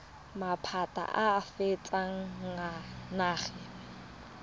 maphata a a fetang nngwe